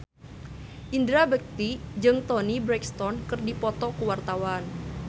Indra Bekti jeung Toni Brexton keur dipoto ku wartawan